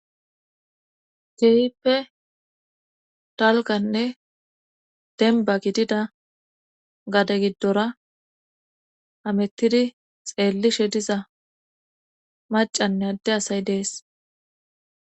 Keehippe dalgganne denbba gididda gade giddora hamettidi xeellishe diza macanne adde asay dees